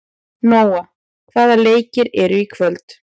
Nóa, hvaða leikir eru í kvöld?